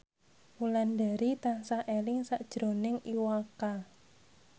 Wulandari tansah eling sakjroning Iwa K